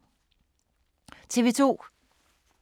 TV 2